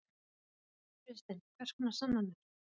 Kristinn: Hvers konar sannanir?